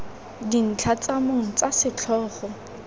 dintlha tsa mong tsa setlhogo